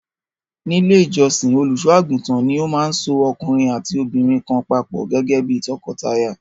Ní Ilé-ìjọsìn, olùṣọ́-àgùntàn ni ó máa so ọkùnrin àti obìnrin kan papọ̀ gẹ́gẹ́ bí tọkọtaya.